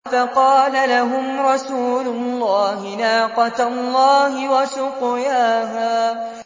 فَقَالَ لَهُمْ رَسُولُ اللَّهِ نَاقَةَ اللَّهِ وَسُقْيَاهَا